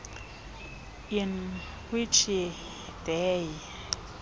in which they